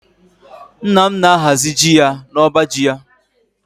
Nna m na-ahazi ji ya n'ọba ji ya